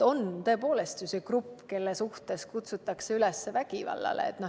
On tõepoolest olemas grupp, kelle suhtes kutsutakse üles vägivallale.